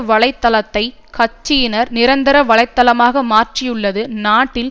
வலை தளத்தை கட்சியின் நிரந்தர வலைத்தளமாக மாற்றியுள்ளது நாட்டில்